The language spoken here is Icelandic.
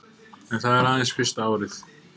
En það er aðeins fyrsta árið